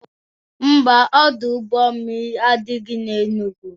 Ḿbà, Ọdụ ụgbọ mmiri adịghị na Enugwu.